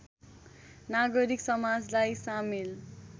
नागरिक समाजलाई सामेल